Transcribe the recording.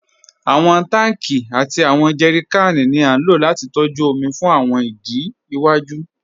Awọn tanki àti awọn jẹrìkànì ni a ló láti tọ̀jú omi fún awọn ìdí iwaju.